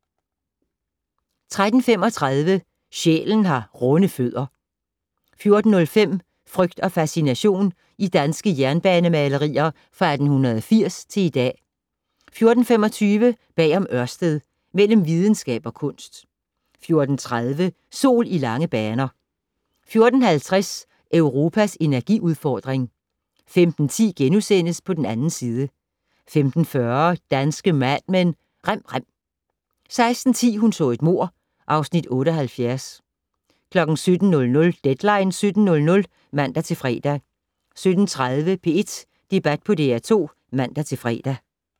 13:35: Sjælen har runde fødder 14:05: Frygt og fascination - i danske jernbanemalerier fra 1880 til i dag 14:25: Bag om Ørsted - Mellem videnskab og kunst 14:30: Sol i lange baner 14:50: Europas energiudfordring 15:10: På den 2. side * 15:40: Danske Mad Men: Rem rem 16:10: Hun så et mord (Afs. 78) 17:00: Deadline 17.00 (man-fre) 17:30: P1 Debat på DR2 (man-fre)